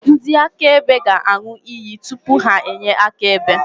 Ndị akaebe ga-aṅụ iyi tupu ha enye akaebe.